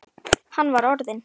Hann var orðinn.